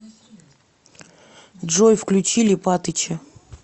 джой включи липатыча